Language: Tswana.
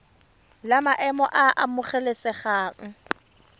la maemo a a amogelesegang